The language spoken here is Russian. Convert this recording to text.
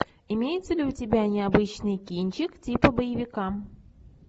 имеется ли у тебя необычный кинчик типа боевика